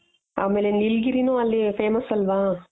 ಆಮೇಲೆ ನೀಲಗಿರಿನು ಅಲ್ಲಿ famous ಆಲ್ವ.